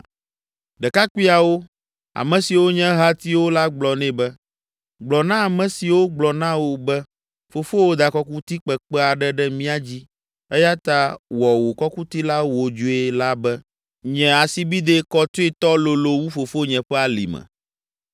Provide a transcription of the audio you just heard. Ɖekakpuiawo, ame siwo nye ehatiwo la gblɔ nɛ be, “Gblɔ na ame siwo, gblɔ na wò be, ‘Fofowò da kɔkuti kpekpe aɖe ɖe mía dzi eya ta wɔ wò kɔkuti la wodzoe’ la be, ‘Nye asibidɛ kɔtoetɔ lolo wu fofonye ƒe alime.